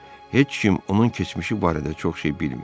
Heç kim onun keçmişi barədə çox şey bilmir.